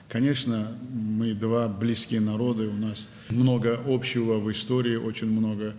Əlbəttə, biz iki yaxın xalqıq, tarixdə çox ortaq cəhətlərimiz var, çox.